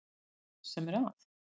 Það er það sem er að.